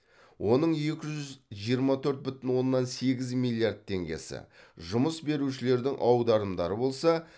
оның екі жүз жиырма төрт бүтін оннан сегіз миллиард теңгесі жұмыс берушілердің аударымдары болса